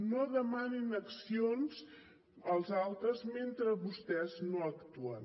no demanin accions als altres mentre vostès no actuen